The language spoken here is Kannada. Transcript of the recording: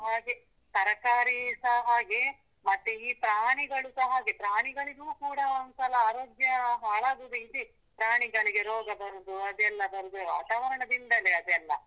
ಹಾಗೆ ತರಕಾರಿಸ ಹಾಗೆ, ಮತ್ತೆ ಈ ಪ್ರಾಣಿಗಳುಸ ಹಾಗೆ ಪ್ರಾಣಿಗಳಿಗೂ ಕೂಡ ಒಂದ್ಸಲ ಆರೋಗ್ಯ ಹಾಳಾಗುದು ಇದೆ, ಪ್ರಾಣಿಗಳಿಗೆ ರೋಗ ಬರುದು ಅದೆಲ್ಲಾ ಬರುದು ವಾತಾವರಣದಿಂದಲೇ ಅದೆಲ್ಲ.